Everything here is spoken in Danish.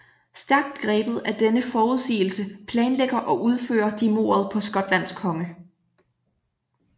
Stærkt grebet af denne forudsigelse planlægger og udfører de mordet på Skotlands konge